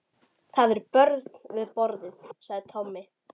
Það eru börn við borðið, sagði Tommi.